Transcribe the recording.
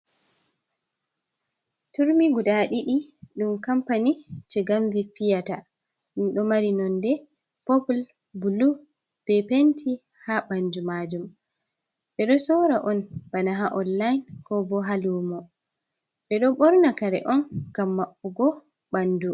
Turmi guda ɗiɗi ɗum, kampani je shigamvi piyata. ɗum do mari nonde popul bulu be penti ha ɓandu maajum, ɓe do sora on bana ha onlayin kobo ha luumo, be do borna kare on ngam maɓɓugo ɓandu.